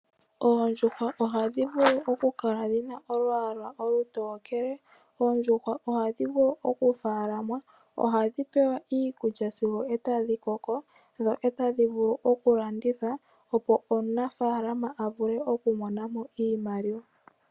Oondjuhwa ohadhi vulu oku kala dhina olwaala olutookele, oondjuhwa odhadhi vulu oku faalamwa, ohadhi pewa iikulya sigo etadhi koko dho etadhi vulu oku landithwa, opo omunafaalama a vule oku mona mo iimaliwa.